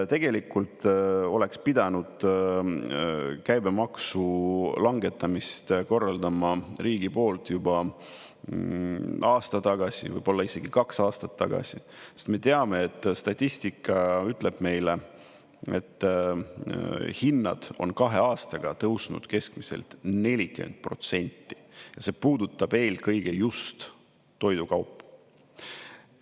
Tegelikult oleks pidanud käibemaksu langetamist korraldama riigi poolt juba aasta tagasi, võib-olla isegi kaks aastat tagasi, sest me teame, et statistika ütleb meile, et hinnad on kahe aastaga tõusnud keskmiselt 40% ja see puudutab eelkõige just toidukaupu.